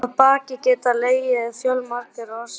Að baki geta legið fjölmargar orsakir.